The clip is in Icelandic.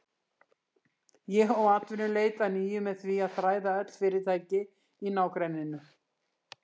Ég hóf atvinnuleit að nýju með því að þræða öll fyrirtæki í nágrenninu.